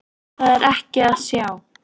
Það er ekki að sjá.